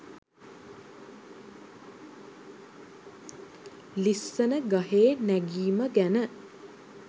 ලිස්සන ගහේ නැගිම ගැන